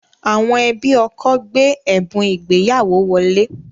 Àwọn ẹbí ọkọ gbé ẹ̀bùn ìgbéyàwó wọlé